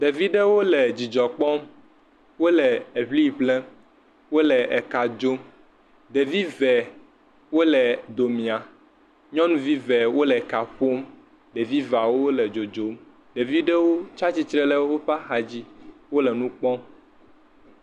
Ɖevi ɖewo le dzidzɔ kpɔm wole eŋiŋlem, wole eka dzom, ɖevi eve wiole domia, nyɔnu eve wole eka ƒom, ɖevi eve wole dzodzom, ɖevi ɖewo tsi atsitre le woƒe axa dzi wole nu kpɔm.